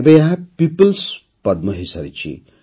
ଏବେ ଏହା ପିପୁଲ୍ସ ପଦ୍ମ ହୋଇସାରିଛି